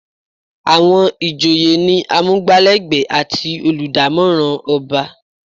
Àwọn ìjòyè ni amugbalegbe àti oludamoran ọba.